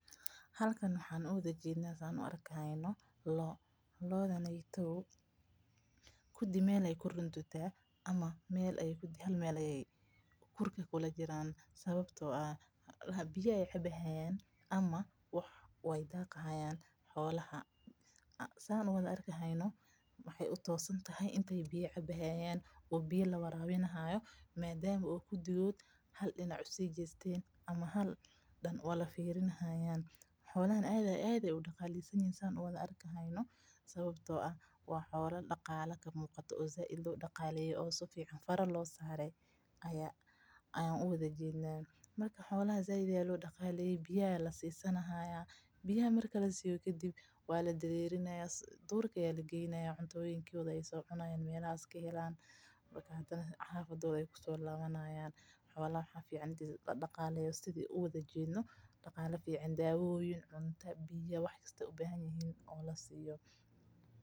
Halkan waxaa ujeedna loo, gudi meel ayeey kurka kula jiraan sababta oo ah biya ayeey cabi haayan ama waay daaqi haayan, xolaha aad ayeey udaqalesan yihiin biya ayaa lasiinin haaya duurka ayaa lageyni hadana xafada ayeey kusoo labani haayan marka daawo biyo cunto wax walbo lasiiyo.